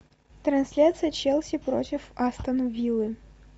трансляция челси против астон виллы